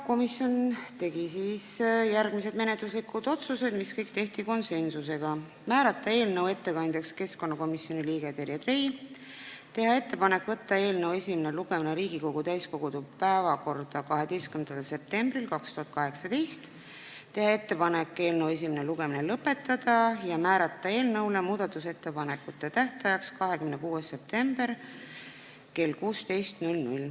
Komisjon tegi konsensusega järgmised menetluslikud otsused: määrata eelnõu ettekandjaks komisjoni liige Terje Trei, teha ettepanek võtta eelnõu esimene lugemine Riigikogu täiskogu päevakorda 12. septembriks 2018, teha ettepanek eelnõu esimene lugemine lõpetada ja määrata muudatusettepanekute tähtajaks 26. september kell 16.